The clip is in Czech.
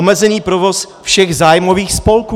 Omezený provoz všech zájmových spolků.